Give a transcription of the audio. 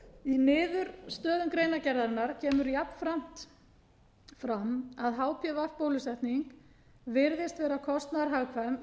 í niðurstöðum greinargerðarinnar kemur jafnframt fram að hpv bólusetning virðist vera kostnaðarhagkvæm miðað